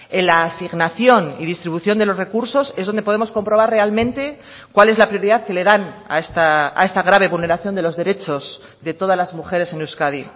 en la asignación y distribución de los recursos es donde podemos comprobar realmente cuál es la prioridad que le dan a esta grave vulneración de los derechos de todas las mujeres en euskadi